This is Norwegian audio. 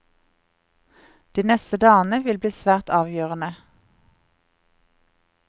De neste dagene blir svært avgjørende.